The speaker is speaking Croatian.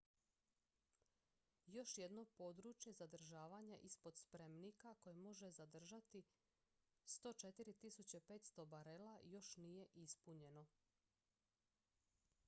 još jedno područje zadržavanja ispod spremnika koje može zadržati 104.500 barela još nije ispunjeno